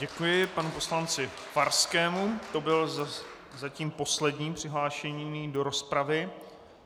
Děkuji panu poslanci Farskému, to byl zatím poslední přihlášený do rozpravy.